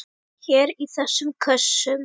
Hér í þessum kössum!